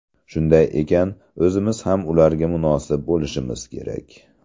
Shunday ekan, o‘zimiz ham ularga munosib bo‘lishimiz kerak.